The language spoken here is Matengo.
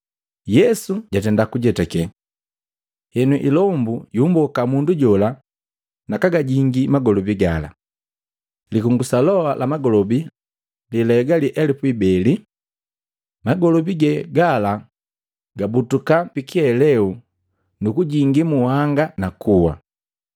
Yesu jwajetakii. Henu ilombu yumboka mundu jola, nakagajingii magolobi gala. Likungusa loa la magolobi lelaegalii elupu ibeli. Magolobi ge gala gabutuka pikiheleu nu kujingii muhanga na kuwa.